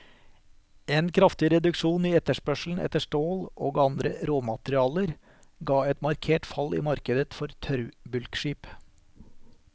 En kraftig reduksjon i etterspørselen etter stål og andre råmaterialer ga et markert fall i markedet for tørrbulkskip.